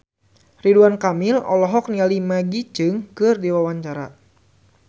Ridwan Kamil olohok ningali Maggie Cheung keur diwawancara